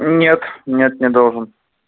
нет нет не должен